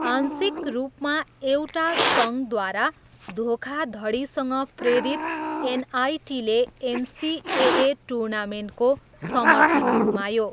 आंशिक रूपमा एउटा सङ्घद्वारा धोखाधडीसँग प्रेरित एनआइटीले एनसिएए टुर्नामेन्टको समर्थन गुमायो।